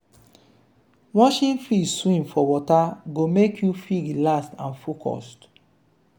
watching fish swim for water go make you feel relaxed and focused.